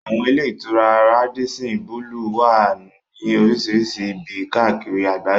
Àwọn ilé-ìtura Rádísín bulùù wà ní oríṣìíríṣìí ibi káàkiri àgbáyé.